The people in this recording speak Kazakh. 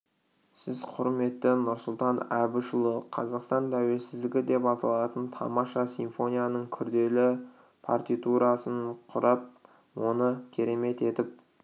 сіз құрметті нұрсұлтан әбішұлы қазақстан тәуелсіздігі деп аталатын тамаша симфонияның күрделі партитурасын құрып оны керемет етіп